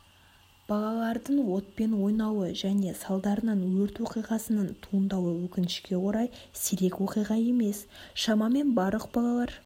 балалардың отпен ойнауы және салдарынан өрт оқиғасының туындауы өкінішке орай сирек оқиға емес шамамен барлық балалар